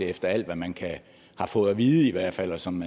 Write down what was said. efter alt hvad man har fået at vide i hvert fald og som